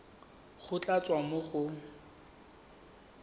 go tla tswa mo go